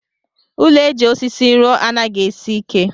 Ụlọ eji osisí rụọ anaghị esi ike.